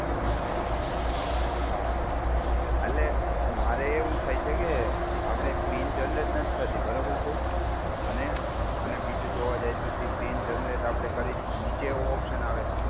હમ્મ હમ્મ હા. એટલે મારે એવું થાય છે કે આપડે પીન જનરેટ નથી થતી બરાબર છે. અને અને બીજું જોવા જઈએ તો જે પીન જનરેટ આપડે કરી નીચે ઓપ્શન આવે.